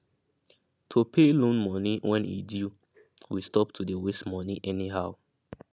to pay loan moni when e due we stop to dey waste moni anyhow